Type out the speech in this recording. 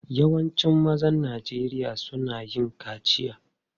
Yawancin mazan Najeriya suna yin kaciya.